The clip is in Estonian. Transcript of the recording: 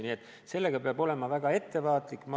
Nii et sellega peab väga ettevaatlik olema.